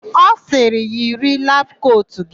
Ọ sịrị, "yiri labụ kotu gị"!